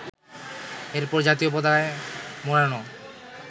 এরপর জাতীয় পতাকায় মোড়ানো